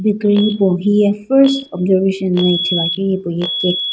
hipau hiye first observation la ithuluakeu ye cake .